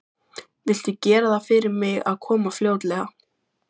Viltu gera það fyrir mig að koma fljótlega?